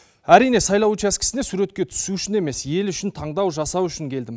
әрине сайлау учаскесіне суретке түсу үшін емес ел үшін таңдау жасау үшін келдім